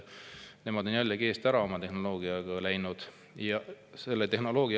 Nemad on jällegi oma tehnoloogiaga eest ära läinud.